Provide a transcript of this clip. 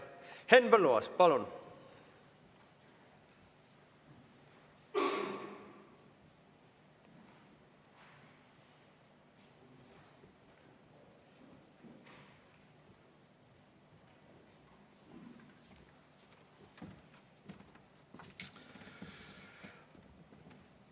Henn Põlluaas, palun!